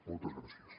moltes gràcies